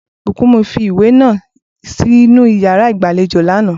Bùkúnmi fi ìwé náà sínú yàrá ìgbàlejò lánàá